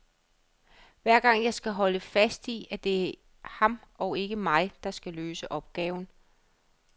Hver gang skal jeg holde fast i, at det er ham og ikke mig, der skal løse opgaven.